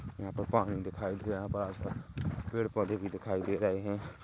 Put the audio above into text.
यहाँ पर पानी दिखाई दे रहा है यहाँ पर पेड़ पौधे भी दिखाई दे रहे है।